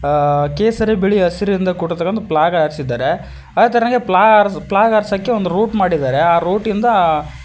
ಆ ಕೇಸರಿ ಬಿಳಿ ಹಸಿರಿಂದ ಕೂಡಿರತಕ್ಕಂತ ಫ್ಲಾಗ್ ಹಾರಿಸಿದ್ದಾರೆ ಅದೆ ತರನಾಗಿ ಫ್ಲಾ ಫ್ಲಾಗ್ ಹಾರ್ಸಕ್ಕೆ ಒಂದು ರೌಟ್ ಮಾಡಿದ್ದಾರೆ ಆ ರೌಟ್ ಇಂದ--